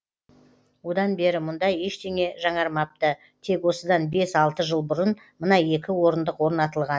одан бері мұнда ештеме жаңармапты тек осыдан бес алты жыл бұрын мына екі орындық орнатылған